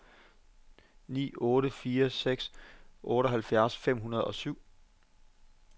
ni otte fire seks otteoghalvtreds fem hundrede og syv